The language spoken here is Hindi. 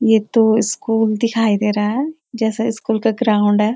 ये तो स्कूल दिखाई दे रहा है जैसा स्कूल का ग्राउन्ड है।